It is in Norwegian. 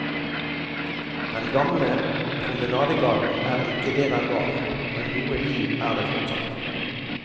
Den gamle promenadegaten er ikke det den var, men noe liv er det fortsatt.